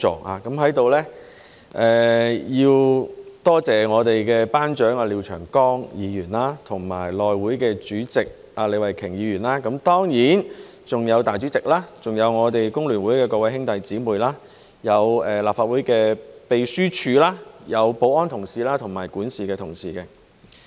我在此要多謝我們的班長廖長江議員及內務委員會主席李慧琼議員，當然還有"大主席"，還有我們工聯會的各位兄弟姊妹、立法會秘書處、保安同事及管事的同事。